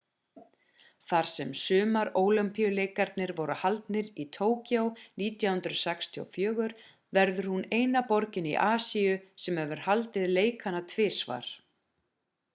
þar sem sumarólympíuleikarnir voru haldnir í tokyo 1964 verður hún eina borgin í asíu sem hefur haldið leikana tvisvar